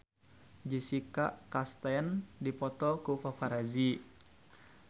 Jessica Chastain dipoto ku paparazi